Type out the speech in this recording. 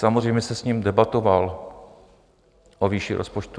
Samozřejmě jsem s ním debatoval o výši rozpočtu.